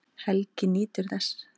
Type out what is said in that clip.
Helgi nýtur þess.